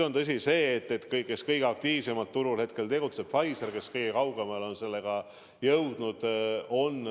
On tõsi, et kõige aktiivsemalt tegutseb praegu turul Pfizer, kes on kõige kaugemale sellega jõudnud.